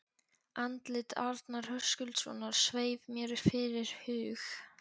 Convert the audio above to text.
Andlit Arnar Höskuldssonar sveif mér fyrir hug